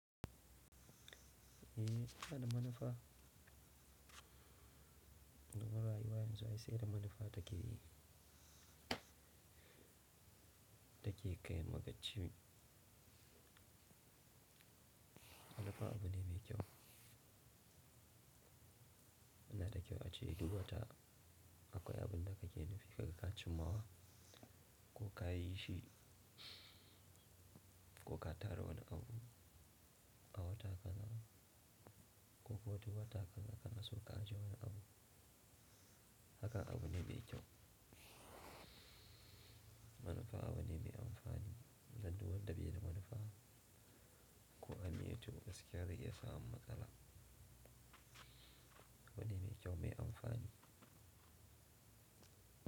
Eh, inada manufa. Domin rayuwa yanzu, ai sai da manufa take yi. Dake kayan magaci ne. Manufa abu ne mai kyau. Ina da kyau a ce duk wata akwai abun da ka ke nufi, kaga ka cimmawa ko ka yi shi ko ka tara wani abu a wata kana, ko ko wata wata kana so ka je wani abu. Haka abu ne mai kyau. Manufa abu ne mai amfani. Ai duk wanda baida manufa, ko an yi to, gaskiya zai iya samu matsala. Abu ne mai kyau, mai amfani.